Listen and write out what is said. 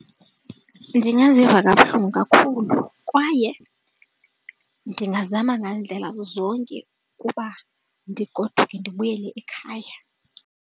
Ndingaziva kabuhlungu kakhulu kwaye ndingazama ngandlela zonke ukuba ndigoduke ndibuyele ekhaya.